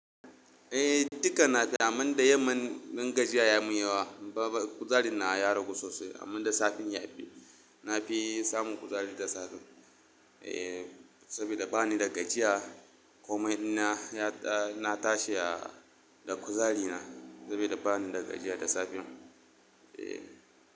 Eh, duka nafi amma da yamma in gajiya ya mun yawa. Kuzarin nawa ya ragu sosai amma da safe ya fi. Na fi samun kuzari da safe. Eh, saboda bani da gajiya komai ina ya na tashi da kuzari na saboda bani da gajiya da safe. Eh.